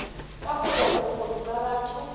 kaho ya bokgoni ba batho